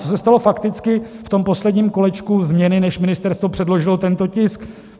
Co se stalo fakticky v tom posledním kolečku změny, než ministerstvo předložilo tento tisk?